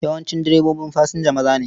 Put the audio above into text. Yawancin direbobin fasinja maza ne.